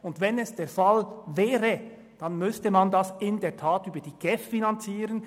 Und wenn es der Fall wäre, dann müsste man diese in der Tat über die GEF finanzieren.